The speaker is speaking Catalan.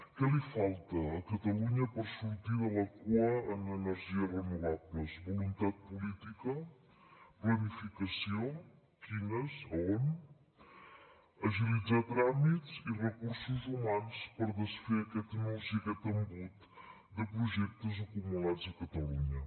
què li falta a catalunya per sortir de la cua en energies renovables voluntat política planificació quines on agilitzar tràmits i recursos humans per desfer aquest nus i aquest embut de projectes acumulats a catalunya